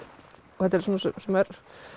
og þetta er svona sem